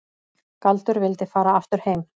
Galdur vildi fara aftur heim.